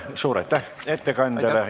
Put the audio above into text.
Suur aitäh ettekandjale!